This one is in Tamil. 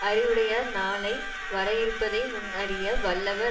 அறிவுடையார் நாளை வர இருப்பதை முன் அறிய வல்லவர்